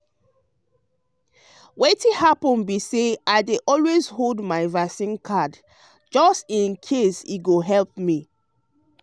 wetin happen be say i dey always hold my vaccine card just in case e go help me.